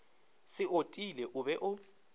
se otile o be o